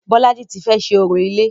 Bolaji ti fẹ́ ṣe orò ilé